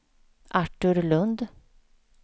Artur Lundh